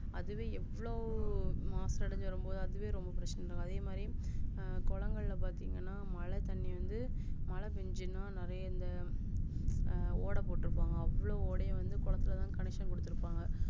அதுவே எவ்ளோ மாசு அடைஞ்சு வரும்போது அதுவே ரொம்ப பிரச்சினை அது மாரி குளங்கள் பாத்திங்கன மழைத்தண்ணி வந்து மழை பெஞ்சுச்சுனா நெறைய இந்த அஹ் ஓடப்போட்டுருபாங்க அவ்ளோ ஓட அதுலதான் connection குடுத்துருப்பாங்க